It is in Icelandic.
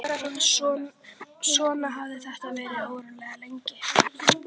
Svona hafði þetta verið svo ógnarlengi.